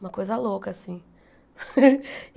Uma coisa louca, assim.